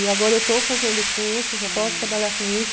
E agora eu estou fazendo o curso, já posso trabalhar com isso.